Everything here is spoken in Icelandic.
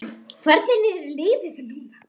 Hvernig er liðið núna?